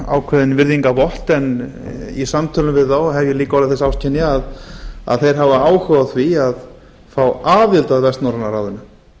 ákveðinn virðingarvott en í samtölum við þá hef ég líka orðið þess áskynja að þeir hafa áhuga á því að fá aðild að vestnorræna ráðinu